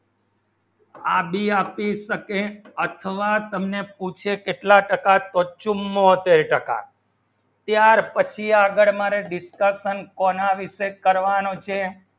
આપ ભી આપી શકે અથવા તમને પૂછે કેટલા તથા તર્કશુમ હોતે તથા ત્યાર પછી આગળ માને distrubance કોના વિષે કરવાનું છે